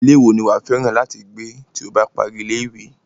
Irú ilé wo ni wàá fẹ́ràn láti gbé tí o bá parí ní ilé-ìwé?